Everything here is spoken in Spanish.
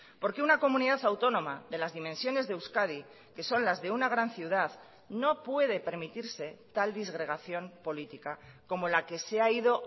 porque una comunidad autónoma de las dimensiones de euskadi que son las de una gran ciudad no puede permitirse tal disgregación política como la que se ha ido